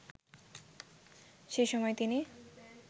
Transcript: সেসময় তিনি